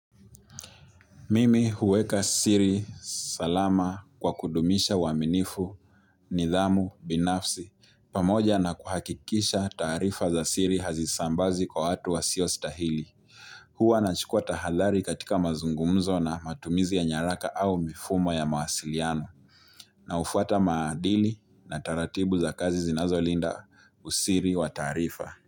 Mimi huweka siri salama kwa kudumisha uaminifu, nidhamu, binafsi, pamoja na kuhakikisha taarifa za siri hazisambazwi kwa watu wasio stahili. Huwa nachukua tahathari katika mazungumzo na matumizi ya nyaraka au mifumo ya mawasiliano. Na hufuata maadili na taratibu za kazi zinazolinda usiri wa taarifa.